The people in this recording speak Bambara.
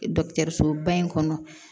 Dɔkitɛrisoba in kɔnɔ